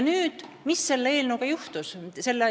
Aga mis selle eelnõuga juhtus?